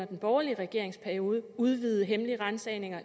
den borgerlige regerings periode udvidede hemmelige ransagninger